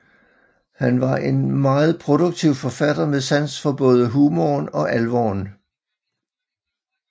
Han var en meget produktiv forfatter med sans for både humoren og alvoren